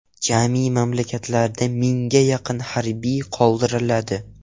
Jami mamlakatda mingga yaqin harbiy qoldiriladi.